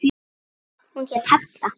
Hún hét Halla.